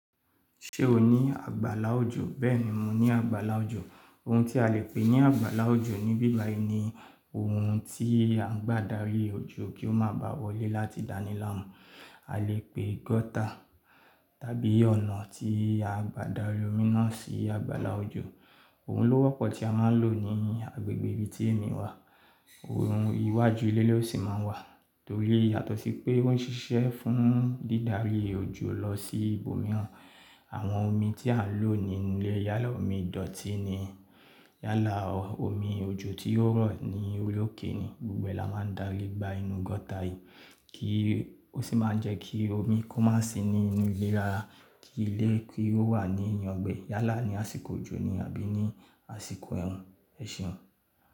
Ṣé o ní àgbàlá òjò? Bẹ́ẹ̀ni, mo ní àgbàlá òjò. Ohun tí a lè pè ní àgbàlá òjò níbi ìbà yìí ni ohun tí a ń gbà dárí òjò kí ó má ba wọlé láti dáni láàmú. A lè pè gọ́tà tàbí ọ̀nà tí a gbà dárí omi náà sí àgbàlá òjò. Ohun ló wọ́pọ̀ tí a máa ń lò ní agbègbè ibi tí èmi wà. Ohun iwájú ilé ló sì máa ń wà torí yàtọ̀ sí pé ó ń ṣiṣẹ́ fún dídárí òjò lọ sí ibòmíràn. Àwọn omi tí a lò nílé yálà omi dọ̀tí ni, yálà omi òjò tí ó rọ̀ ni ori okè ni. Ibẹ la máa ń dári gba inú gọ́tà yìí, kí ó sì máa jẹ́ kí omi kó má sì ní inú ilé rara kí ilé kí ó wà ní ìyangbẹ yálà ní àsìkò òjò ni àbí ní àsìkò ẹ̀rùn, ẹ̀ se.